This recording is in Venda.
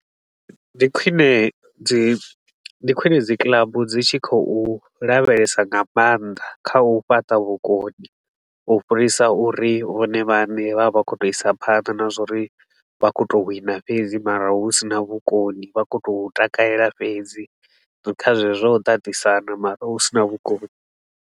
Ndi khwine dzi ndi khwine dzi club dzi tshi khou lavhelesa nga maanḓa kha u fhaṱa vhukoni, u fhirisa uri vhone vhaṋe vha vhe vha khou tou isa phanḓa na zwa uri vha khou tou wina fhedzi mara hu si na vhukoni, vha khou tou takalela fhedzi kha zwezwo zwa u tatisana mara hu sina vhukoni.